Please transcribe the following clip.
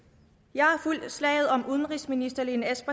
jeg har fulgt slaget om udenrigsministerens